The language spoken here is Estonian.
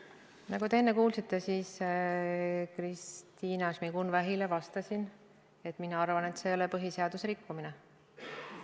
Nagu te enne kuulsite, ma vastasin Kristina Šmigun-Vähile, et mina arvan, et see ei ole põhiseaduse rikkumine.